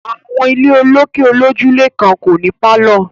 Àwọn ilé olókè olójúlé kan kò ní pálọ̀